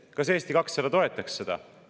Kas Eesti 200 toetaks seda?